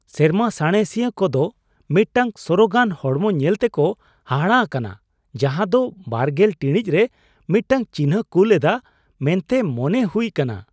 ᱥᱮᱨᱢᱟ ᱥᱟᱬᱮᱥᱤᱭᱟᱹ ᱠᱚ ᱫᱚ ᱢᱤᱫᱴᱟᱝ ᱥᱚᱨᱚᱜᱟᱱ ᱦᱚᱲᱢᱚ ᱧᱮᱞ ᱛᱮᱠᱚ ᱦᱟᱦᱟᱲᱟᱜ ᱟᱠᱟᱱᱟ ᱡᱟᱦᱟᱸ ᱫᱚ ᱒᱐ ᱴᱤᱲᱤᱡ ᱨᱮ ᱢᱤᱫᱴᱟᱝ ᱪᱤᱱᱦᱟᱹᱭ ᱠᱩᱞ ᱮᱫᱟ ᱢᱮᱱᱛᱮ ᱢᱚᱱᱮ ᱦᱩᱭᱩᱜ ᱠᱟᱱᱟ ᱾